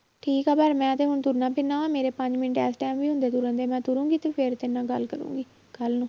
ਠੀਕ ਹੈ ਪਰ ਮੈਂ ਤੇ ਹੁਣ ਤੁਰਨਾ ਫਿਰਨਾ ਵਾਂ ਮੇਰੇ ਪੰਜ ਮਿੰਟ ਇਸ time ਵੀ ਹੁੰਦੇ ਤੁਰਨ ਫਿਰਨ ਦੇ, ਮੈਂ ਤੁਰਾਂਗੀ ਤੇ ਫਿਰ ਤੇਰੇ ਨਾਲ ਗੱਲ ਕਰਾਂਗੀ ਕੱਲ੍ਹ ਨੂੰ।